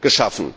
geschaffen.